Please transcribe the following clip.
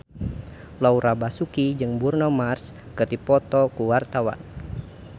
Laura Basuki jeung Bruno Mars keur dipoto ku wartawan